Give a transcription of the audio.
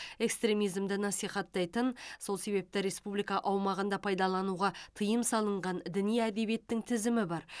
экстремизмді насихаттайтын сол себепті республика аумағында пайдалануға тыйым салынған діни әдебиеттің тізімі бар